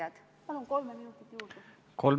Austatud ettekandja!